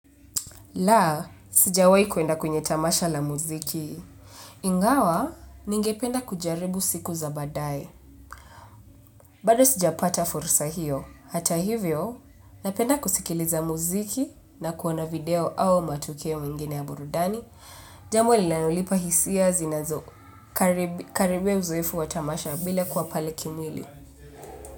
Laa, sijawai kuenda kwenye tamasha la muziki. Ingawa, ningependa kujaribu siku za badae. Bado sijapata fursa hiyo. Hata hivyo, napenda kusikiliza muziki na kuona video au matukio mengine ya burudani. Jambo linalonipa hisia zinazo. Karibia uzoefu wa tamasha bila kuwa pale kimwili.